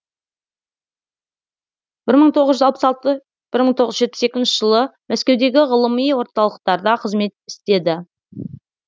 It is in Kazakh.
бір мың тоғыз жүз алпыс алты бір мың тоғыз жүз жетпіс екінші жылы мәскеудегі ғылыми орталықтарда қызмет істеді